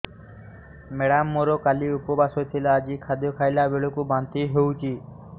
madam ମୋର କାଲି ଉପବାସ ଥିଲା ଆଜି ଖାଦ୍ୟ ଖାଇଲା ବେଳକୁ ବାନ୍ତି ହେଊଛି